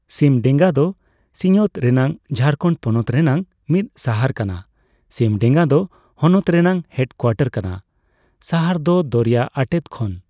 ᱥᱤᱢᱰᱮᱜᱟ ᱫᱚ ᱥᱤᱧᱚᱛ ᱨᱮᱱᱟᱜ ᱡᱷᱟᱨᱠᱷᱚᱸᱰ ᱯᱚᱱᱚᱛ ᱨᱮᱱᱟᱜ ᱢᱤᱫ ᱥᱟᱦᱚᱨ ᱠᱟᱱᱟ ᱾ ᱥᱤᱢᱰᱮᱜᱟ ᱫᱚ ᱦᱚᱱᱚᱛ ᱨᱮᱱᱟᱜ ᱦᱮᱰᱠᱩᱣᱟᱴᱚᱨ ᱠᱟᱱᱟ ᱾ ᱥᱟᱦᱚᱨ ᱫᱚ ᱫᱚᱨᱭᱟ ᱟᱴᱮᱫ ᱠᱷᱚᱱ